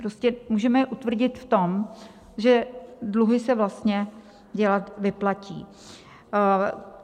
Prostě můžeme je utvrdit v tom, že dluhy se vlastně dělat vyplatí.